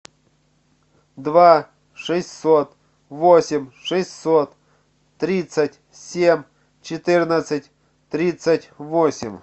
два шестьсот восемь шестьсот тридцать семь четырнадцать тридцать восемь